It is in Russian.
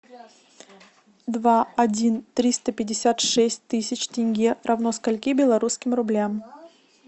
два один триста пятьдесят шесть тысяч тенге равно скольки белорусским рублям